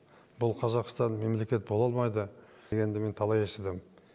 бұл қазақстан мемлекет бола алмайды дегенді мен талай естідім